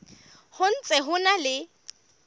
ho ntse ho na le